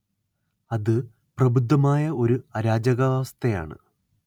അത് പ്രബുദ്ധമായ ഒരു അരാജകാവസ്ഥയാണ്